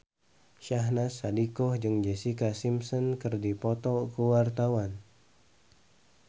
Syahnaz Sadiqah jeung Jessica Simpson keur dipoto ku wartawan